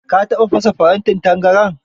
Ka taɓa fasa farantin tangaran?